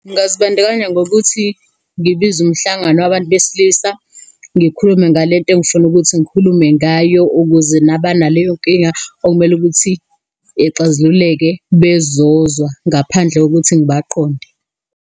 Ngingazibandakanya ngokuthi ngibize umhlangano wabantu besilisa, ngikhulume ngale nto engifuna ukuthi ngikhulume ngayo, ukuze nabanaleyo nkinga okumele ukuthi ixazululeke bezozwa ngaphandle kokuthi ngibaqonde.